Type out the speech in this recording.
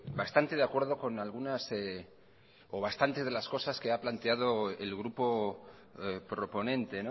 bastante de acuerdo con algunas o bastantes de las cosas que ha planteado el grupo proponente